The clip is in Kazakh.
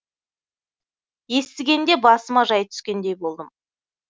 естігенде басыма жай түскендей болдым